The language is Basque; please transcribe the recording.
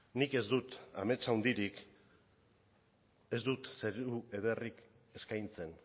nik ez dut amets handirik ez dut zeru ederrik eskaintzen